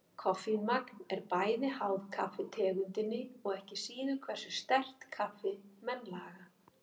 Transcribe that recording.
Koffínmagn er bæði háð kaffitegundinni og ekki síður hversu sterkt kaffi menn laga.